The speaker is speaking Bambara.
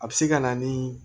A bɛ se ka na ni